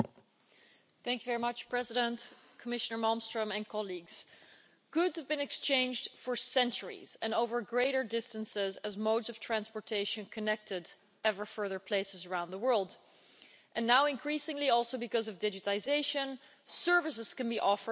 Mr President, Commissioner Malmström and colleagues, goods have been exchanged for centuries and over greater distances as modes of transportation connect ever further places around the world. And now increasingly also, because of digitisation, services can be offered anywhere.